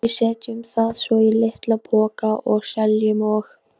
Við setjum það svo í litla poka og seljum og.